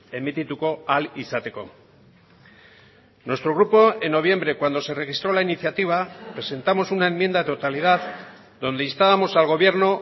emitituko ahal izateko nuestro grupo en noviembre cuando se registró la iniciativa presentamos una enmienda a la totalidad donde instábamos al gobierno